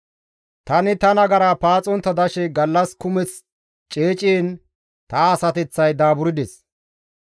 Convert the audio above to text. Tani ta nagara paaxontta dashe gallas kumeth ceeciin ta asateththay daaburdes.